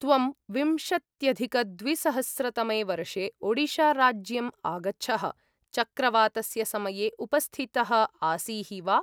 त्वं विंशत्यधिकद्विसहस्रतमे वर्षे ओडिशाराज्यम् आगच्छः, चक्रवातस्य समये उपस्थितः आसीः वा?